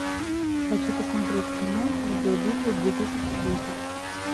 хочу посмотреть кино видеобитвы две тысячи десять